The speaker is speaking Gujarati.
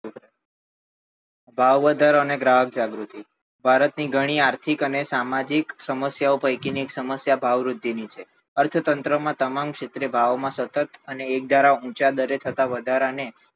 ભાવ વધારા અને ગ્રાહક જાગૃતિ ભારત ની ઘણી આર્થિક અને સામાજિક સમસ્યા પૈકી ની એક સમસ્યા ભાવ વૃદ્ધિ ની છે અર્થ તંત્ર માં તમામ ક્ષેત્રે ભાવ માં સતત અને એક ધારા ઊંચા દરે થતા વધારા ને